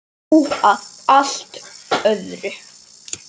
Nú að allt öðru.